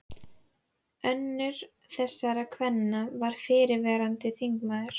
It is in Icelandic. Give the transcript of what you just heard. Önnur þessara kvenna var fyrrverandi þingmaður.